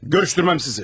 Görüşdürmərəm sizi.